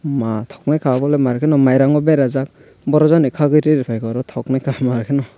maa tognaika obo le maarke mairung o berajaak boro jaani kagui reefaika tognaika maar ke no.